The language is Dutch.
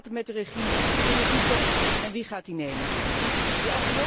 Hoe gaat het met de regie in de toekomst en wie gaat die in handen nemen?